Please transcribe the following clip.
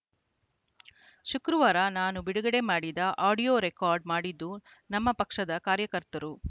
ಶುಕ್ರವಾರ ನಾನು ಬಿಡುಗಡೆ ಮಾಡಿದ ಆಡಿಯೋ ರೆಕಾರ್ಡ್‌ ಮಾಡಿದ್ದು ನಮ್ಮ ಪಕ್ಷದ ಕಾರ್ಯಕರ್ತರು